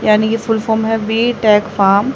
यानी की full form है बीटेक फॉर्म ।